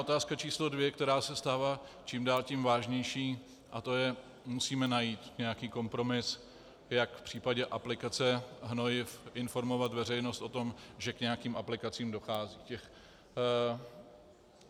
Otázka číslo dvě, která se stává čím dál tím vážnější, je to, že musíme najít nějaký kompromis, jak v případě aplikace hnojiv informovat veřejnost o tom, že k nějakým aplikacím dochází.